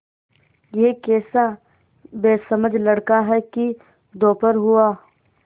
यह कैसा बेसमझ लड़का है कि दोपहर हुआ